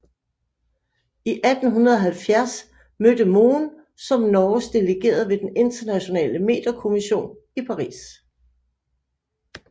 I 1870 mødte Mohn som Norges delegerede ved den internationale meterkommission i Paris